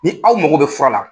Ni aw mao bɛ fura la,